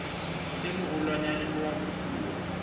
e moholwanyane ha a kopuwa